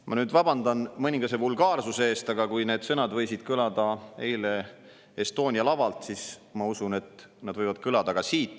Ma nüüd vabandan mõningase vulgaarsuse pärast, aga kui need sõnad võisid kõlada eile Estonia lavalt, siis ma usun, et need võivad kõlada ka siit.